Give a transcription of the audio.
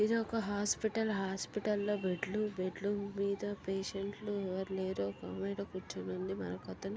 ఇది ఒక hospital . Hospital లో బెడ్లు . బెడ్లు మీద పేసెంట్ లు ఎవరూ లేరు. ఒక ఆమె అయితే కూర్చుని ఉంది. మరొకతను--